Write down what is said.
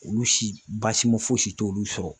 Olu si baasima foyi si t'olu sɔrɔ.